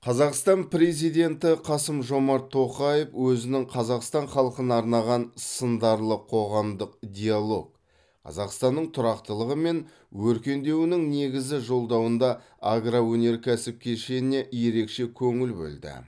қазақстан президенті қасым жомарт тоқаев өзінің қазақстан халқына арнаған сындарлы қоғамдық диалог қазақстанның тұрақтылығы мен өркендеуінің негізі жолдауында агроөнеркәсіп кешеніне ерекше көңіл бөлді